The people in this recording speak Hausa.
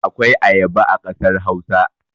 Akwai ayaba a kasar Hausa.